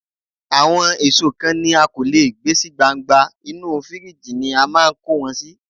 Àwọn èso kan ni a kò lè gbé sí gbangba, inú fíríjì ni a máa ń kó wọn sí.